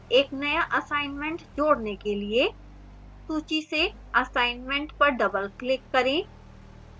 एक नया assignment जोड़ने के लिए सूची से assignment पर doubleclick करें